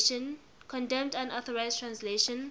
condemned unauthorized translations